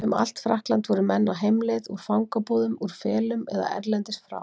Um allt Frakkland voru menn á heimleið, úr fangabúðum, úr felum eða erlendis frá.